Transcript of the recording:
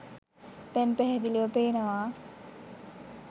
දැන් පැහැදිලිව පේනවා.